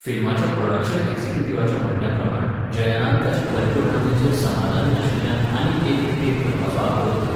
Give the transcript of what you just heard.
फिल्माच्या production एक्झिक्युटिव्हाच्या म्हणणण्याप्रमाण जयनान ताचे परिपूर्णतेचेर समादानी नाशिल्ल्यान आनीक एक रि टेक करपाचो आग्रो धरलो.